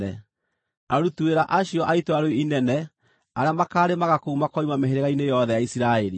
Aruti wĩra acio a itũũra rĩu inene arĩa makaarĩmaga kũu makoima mĩhĩrĩga-inĩ yothe ya Isiraeli.